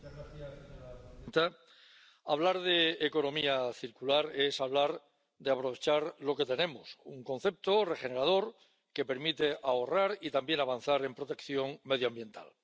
Señora presidenta, hablar de economía circular es hablar de aprovechar lo que tenemos, un concepto regenerador que permite ahorrar y también avanzar en protección medioambiental.